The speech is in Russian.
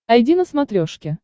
айди на смотрешке